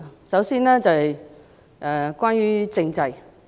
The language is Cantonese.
首先，關於政制。